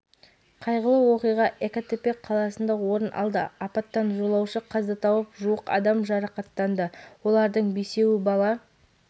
қайғылы оқиға экатепек қаласында орын алды апаттан жолаушы қаза тауып жуық адам жарақаттанды олардың бесеуі бала